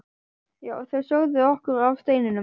Já, þau sögðu okkur af steininum.